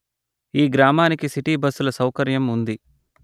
ఈ గ్రామానికి సిటి బస్సుల సౌకర్యం ఉంది